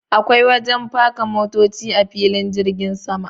Akwai wajen faka motoci a filin jirgin sama.